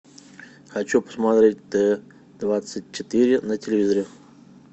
хочу посмотреть т двадцать четыре на телевизоре